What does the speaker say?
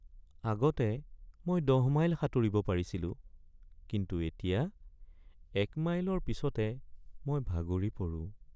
আগতে মই ১০ মাইল সাঁতুৰিব পাৰিছিলোঁ, কিন্তু এতিয়া ১ মাইলৰ পিছতে মই ভাগৰি পৰোঁ।